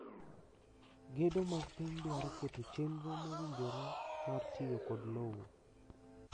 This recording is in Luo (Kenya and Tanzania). Gedo mag piny dwaro keto chenro mowinjore mar tiyo kod lowo.